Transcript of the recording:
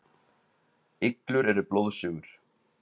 Iglur eru blóðsugur.